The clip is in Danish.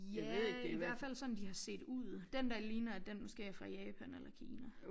Ja i hvert fald sådan de har set ud den der ligner at den måske er fra Japan eller Kina